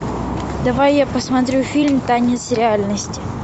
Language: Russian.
давай я посмотрю фильм танец реальности